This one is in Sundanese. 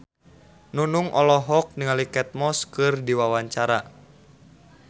Nunung olohok ningali Kate Moss keur diwawancara